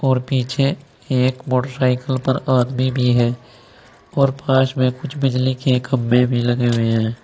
और पीछे एक मोटरसाइकिल पर आदमी भी हैं और पास में कुछ बिजली के खम्भे भी लगे हुए हैं।